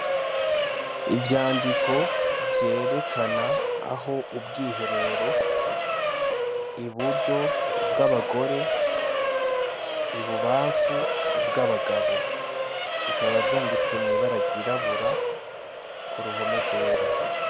Ivyandiko vyerekana aho ubwiherero, iburyo ubwagore ibubamfu ubwabagabo, bikaba vyanditse mwibara ryirabura kuruhome rwera.